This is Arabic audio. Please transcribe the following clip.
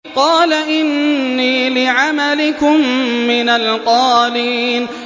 قَالَ إِنِّي لِعَمَلِكُم مِّنَ الْقَالِينَ